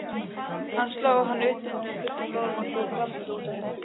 Hann sló hana utan undir með flötum lófanum og hljóp grátandi út úr herberginu.